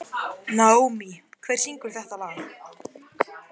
Naómí, hver syngur þetta lag?